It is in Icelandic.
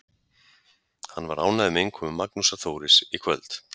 Hann var ánægður með innkomu Magnúsar Þóris í kvöld.